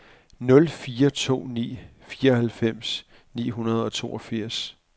nul fire to ni fireoghalvfems ni hundrede og toogfirs